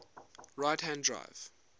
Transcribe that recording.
right hand drive